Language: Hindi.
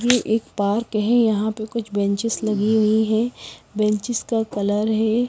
ये एक पार्क है यहाँ पे कुछ बेंचेस लगी हुई हैं बेंचेस का कलर है।